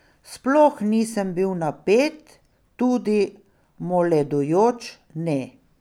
Sploh nisem bil napet, tudi moledujoč ne.